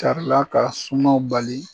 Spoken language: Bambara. Tari la ka sumaw bali